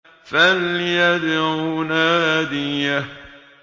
فَلْيَدْعُ نَادِيَهُ